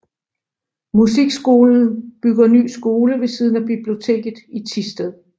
Musikskolen bygger ny skole ved siden af biblioteket i Thisted